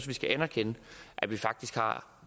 vi skal anerkende at vi faktisk